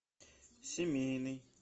семейный